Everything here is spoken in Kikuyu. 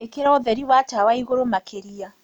Ĩkĩra ũthēri wa tawa ĩgũrũ makĩrĩa